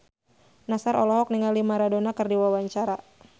Nassar olohok ningali Maradona keur diwawancara